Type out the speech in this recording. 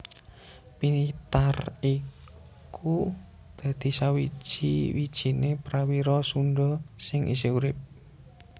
Pitar iku dadi sawiji wijiné prawira Sundha sing isih urip